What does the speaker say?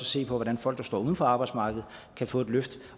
se på hvordan folk der står uden for arbejdsmarkedet kan få et løft